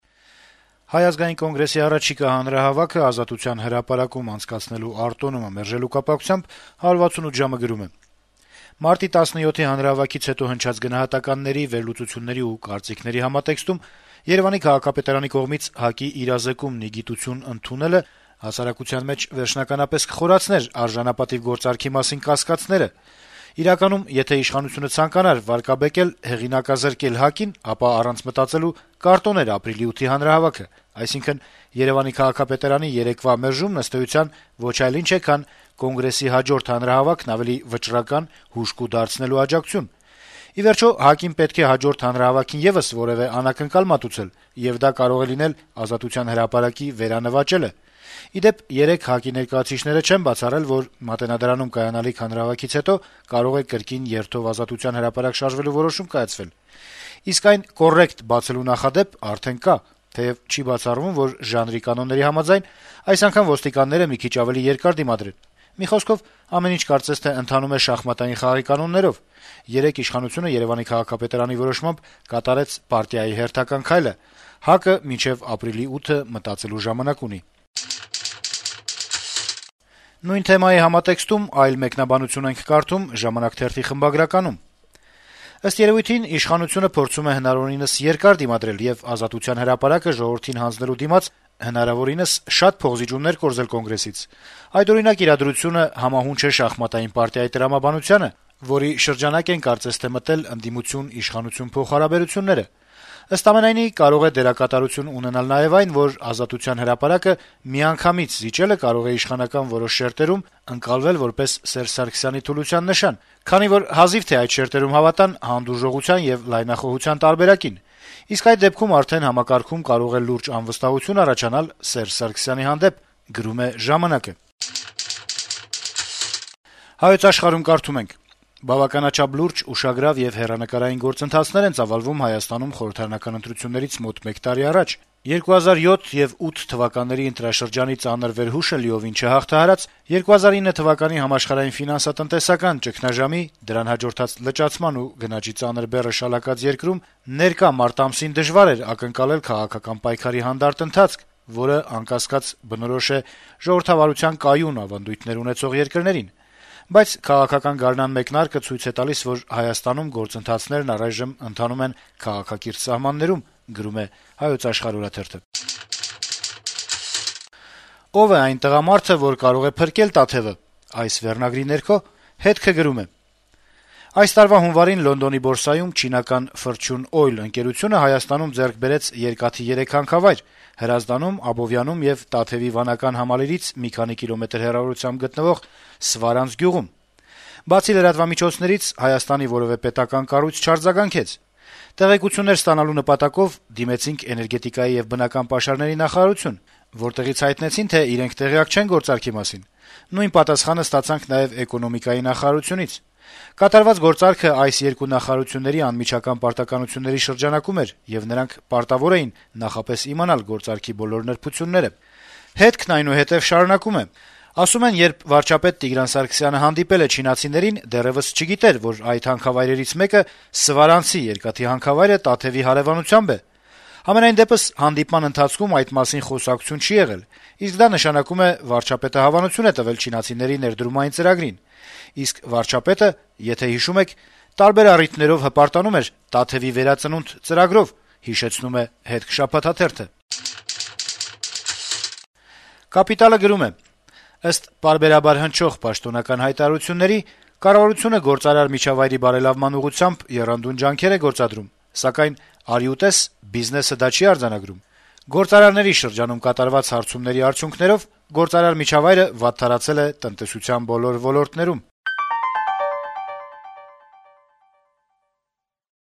Հայ ազգային կոնգրեսի առաջիկա հանրահավաքը Ազատության հրապարակում անցկացնելու արտոնումը մերժելու կապակցությամբ «168 ժամ»-ը գրում է. - «Մարտի 17-ի հանրահավաքից հետո հնչած գնահատականների, վերլուծությունների ու կարծիքների համատեքստում Երեւանի քաղաքապետարանի կողմից ՀԱԿ-ի իրազեկումն ի գիտություն ընդունելը հասարակության մեջ վերջնականապես կխորացներ «արժանապատիվ գործարքի» մասին կասկածները: Իրականում, եթե իշխանությունը ցանկանար վարկաբեկել, հեղինակազրկել ՀԱԿ-ին, ապա առանց մտածելու կարտոներ ապրիլի 8-ի հանրահավաքը: Այսինքն` Երեւանի քաղաքապետարանի երեկվա մերժումն, ըստ էության, ոչ այլ ինչ է, քան Կոնգրեսի հաջորդ հանրահավաքն ավելի «վճռական», «հուժկու» դարձնելու աջակցություն: Ի վերջո, ՀԱԿ-ին պետք է հաջորդ հանրահավաքին եւս որեւէ «անակնկալ» մատուցել, եւ դա կարող է լինել Ազատության հրապարակի վերավերանվաճելը: Ի դեպ, երեկ ՀԱԿ-ի ներկայացուցիչները չեն բացառել, որ Մատենադարանում կայանալիք հանրահավաքից հետո կարող է կրկին երթով Ազատության հրապարակ շարժվելու որոշում կայացվել: Իսկ այն «կոռեկտ» բացելու նախադեպ արդեն կա: Թեեւ չի բացառվում, որ ժանրի կանոնների համաձայն` այս անգամ ոստիկանները մի քիչ ավելի երկար դիմադրեն: Մի խոսքով, ամեն ինչ կարծես ընթանում է «շախմատային» խաղի կանոններով: Երեկ իշխանությունը Երեւանի քաղաքապետարանի որոշմամբ կատարեց պարտիայի հերթական քայլը: ՀԱԿ-ը մինչեւ ապրիլի 8-ը մտածելու ժամանակ ունի»: Նույն թեմային համատեքստում այլ մեկնաբանություն ենք կարդում «Ժամանակ» թերթի խմբագրականում. - «Ըստ երեւույթին, իշխանությունը փորձում է հնարավորինս երկար դիմադրել եւ Ազատության հրապարակը ժողովրդին հանձնելու դիմաց հնարավորինս շատ փոխզիջումներ կորզել Կոնգրեսից: Այդօրինակ իրադրությունը համահունչ է շախմատային պարտիայի տրամաբանությանը, որի շրջանակ են կարծես թե մտել ընդդիմություն – իշխանություն փոխհարաբերությունները: Ըստ ամենայնի, կարող է դերակատարություն ունենալ նաեւ այն, որ Ազատության հրապարակը միանգամից զիջելը կարող է իշխանական որոշ շերտերում ընկալվել որպես Սերժ Սարգսյանի թուլության նշան, քանի որ հազիվ թե այդ շերտերում հավատան հանդուրժողության եւ լայնախոհության տարբերակին: Իսկ այդ դեպքում արդեն համակարգում կարող է լուրջ անվստահություն առաջանալ Սերժ Սարգսյանի հանդեպ»: «Հայոց աշխարհ»-ը գրում է. - «Բավականաչափ լուրջ, ուշագրավ ու հեռանկարային գործընթացներ են ծավալվում Հայաստանում խորհրդարանական ընտրություններից մոտ մեկ տարի առաջ։ 2007-2008 թվականների ընտրաշրջանի ծանր վերհուշը լիովին չհաղթահարած, 2009 թվականի համաշխարհային ֆինանսատնտեսական ճգնաժամի, դրան հաջորդած լճացման ու գնաճի ծանր բեռը շալակած երկրում ներկա մարտ ամսին դժվար էր ակնկալել քաղաքական պայքարի հանդարտ ընթացք, որը անկասկած բնորոշ է ժողովրդավարության կայուն ավանդույթներ ունեցող երկրներին։ Բայց քաղաքական գարնան մեկնարկը ցույց է տալիս, որ Հայաստանում գործընթացներն առայժմ ընթանում են քաղաքակիրթ պայմաններում»: «Ով է այն տղամարդը, որ կարող է փրկել Տաթեւը» վերնագրի ներքո «Հետք»-ը գրում է. - «Այս տարվա հունվարին Լոնդոնի բորսայում չինական «Ֆորչյուն Օյլ» ընկերությունը Հայաստանում ձեռք բերեց երկաթի երեք հանքավայր` Հրազդանում, Աբովյանում եւ Տաթեւի վանական համալիրից մի քանի կիլոմետր հեռավորությամբ գտնվող Սվարանց գյուղում: Բացի լրատվամիջոցներից, Հայաստանի որեւէ պետական կառույց չարձագանքեց: Տեղեկություններ ստանալու նպատակով դիմեցինք Էներգետիկայի եւ բնական պաշարների նախարարություն, որտեղից հայտնեցին, թե իրենք տեղյակ չեն գործարքի մասին: Նույն պատասխանը ստացանք նաեւ Էկոնոմիկայի նախարարությունից: Կատարված գործարքը այս երկու նախարարարությունների անմիջական պարտականությունների շրջանակում էր, եւ նրանք պարտավոր էին նախապես իմանալ գործարքի բոլոր նրբությունները»: Թերթը շարունակում է. - «Ասում են, երբ վարչապետ Տիգրան Սարգսյանը հանդիպել է չինացիներին, դեռեւս չգիտեր, որ այդ հանքավայրերից մեկը` Սվարանցի երկաթի հանքավայրը, Տաթեւի հարեւանությամբ է: Համենայնդեպս, հանդիպման ընթացքում այդ մասին խոսակցություն չի եղել, իսկ դա նշանակում է `վարչապետը հավանություն է տվել չինացիների ներդրումային ծրագրին: Իսկ վարչապետը, եթե հիշում եք, տարբեր առիթներով հպարտանում էր «Տաթեւի վերածնունդ» ծրագրով»: «Կապիտալ»-ը գրում է. - «Ըստ պարբերաբար հնչող պաշտոնական հայտարարությունների՝ կառավարությունը գործարար միջավայրի բարելավման ուղղությամբ եռանդուն ջանքեր է գործադրում, սակայն արի ու տես՝ բիզնեսը դա չի արձանագրում։ Գործարարների շրջանում կատարված հարցումների արդյունքներով՝ գործարար միջավայրը վատթարացել է տնտեսության բոլոր ոլորտներում»։